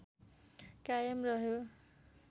कायम रह्यो